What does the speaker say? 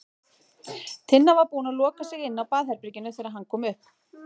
Tinna var búin að loka sig inni á baðherberginu þegar hann kom upp.